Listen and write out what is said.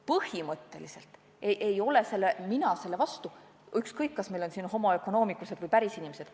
Põhimõtteliselt ei ole mina selle vastu, ükskõik, kas meil on siin homo economicus'ed või pärisinimesed.